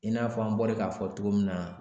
I n'a fɔ an bɔra k'a fɔ cogo min na